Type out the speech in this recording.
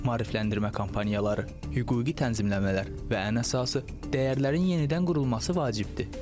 Maarifləndirmə kampaniyaları, hüquqi tənzimləmələr və ən əsası dəyərlərin yenidən qurulması vacibdir.